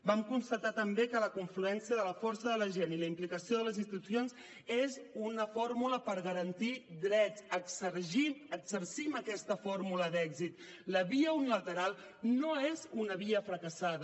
vam constatar també que la confluència de la força de la gent i la implicació de les institucions és una fórmula per garantir drets exercim aquesta fórmula d’èxit la via unilateral no és una via fracassada